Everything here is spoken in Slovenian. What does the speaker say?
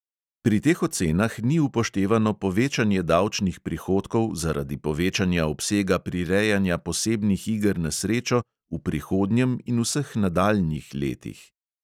Pri teh ocenah ni upoštevano povečanje davčnih prihodkov zaradi povečanja obsega prirejanja posebnih iger na srečo v prihodnjem in vseh nadaljnjih letih.